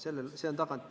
Vabandust!